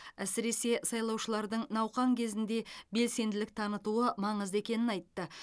әсіресе сайлаушылардың науқан кезінде белсенділік танытуы маңызды екенін айтты